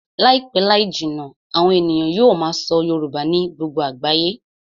Láìpẹ́ láì jìnnà, àwọn ènìyàn yóò máa sọ Yorùbá ní gbogbo àgbáyé